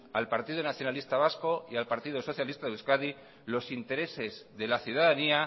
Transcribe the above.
al partido nacionalista vasco y al partido socialista de euskadi los intereses de la ciudadanía